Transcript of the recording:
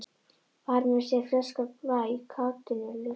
Bar með sér ferskan blæ, kátínu, lífsgleði.